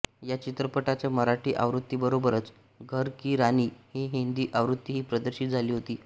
या चित्रपटाच्या मराठी आवृत्तीबरोबरच घर की रानी ही हिंदी आवृत्तीही प्रदर्शित झाली होती